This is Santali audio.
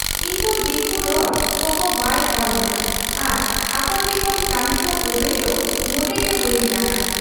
ᱤᱧᱫᱚ ᱫᱤᱠᱩ ᱨᱚᱲ ᱠᱚᱦᱚᱸ ᱵᱟᱭ ᱚᱲ ᱟᱹᱧᱟᱹ ᱟᱨ ᱟᱠᱚᱴᱷᱮᱫ ᱠᱷᱚᱱ ᱠᱟᱹᱢᱤᱠᱚ ᱟᱹᱫᱟᱹᱭ ᱫᱚ ᱢᱚᱴᱮᱜᱮ ᱵᱟᱹᱧ ᱜᱟᱱᱟ ᱾